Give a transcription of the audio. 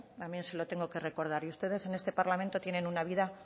también se lo tengo que recordar y ustedes en este parlamento tienen una vida